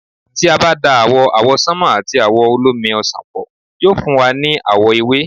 tí a bá da àwò̩ àwọsánmà àti àwò̩ olómi ọsàn pọ̀, yóò fún wa ní àwọ̀ ewé